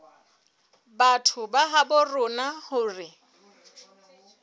batho ba habo rona hore